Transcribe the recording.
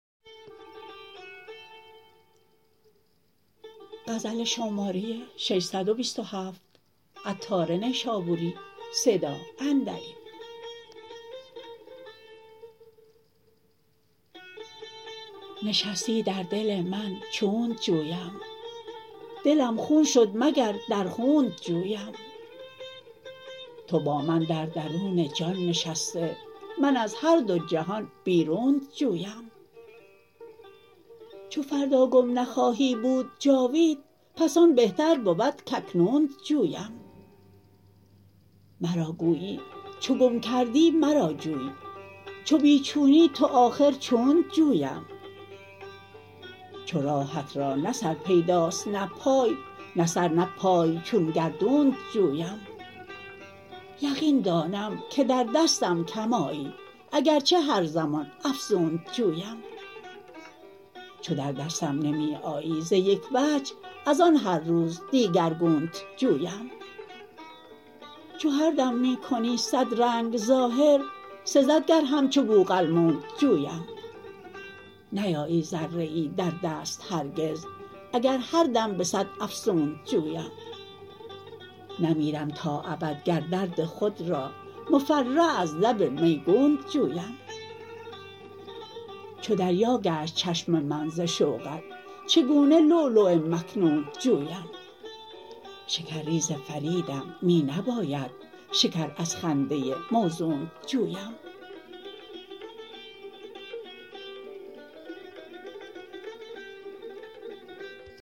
نشستی در دل من چونت جویم دلم خون شد مگر در خونت جویم تو با من در درون جان نشسته من از هر دو جهان بیرونت جویم چو فردا گم نخواهی بود جاوید پس آن بهتر بود کاکنونت جویم مرا گویی چو گم گردی مرا جوی چو بی چونی تو آخر چونت جویم چو راهت را نه سر پیداست نه پای نه سر نه پای چون گردونت جویم یقین دانم که در دستم کم آیی اگرچه هر زمان افزونت جویم چو در دستم نمی آیی ز یک وجه از آن هر روز دیگرگونت جویم چو هر دم می کنی صد رنگ ظاهر سزد گر همچو بوقلمونت جویم نیایی ذره ای در دست هرگز اگر هر دم به صد افسونت جویم نمیرم تا ابد گر درد خود را مفرح از لب میگونت جویم چو دریا گشت چشم من ز شوقت چگونه لؤلؤ مکنونت جویم شکر ریز فریدم می نباید شکر از خنده موزونت جویم